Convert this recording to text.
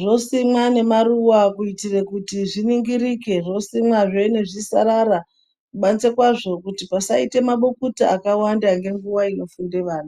zvosimwa nemaruwa kuitira kuti zviringirike, zvosimwazve nezvisarara kubanze kwazvo kuti pasaite mabukuta akawanda ngenguwa inofunda wana.